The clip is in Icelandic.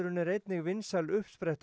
er einnig vinsæl uppspretta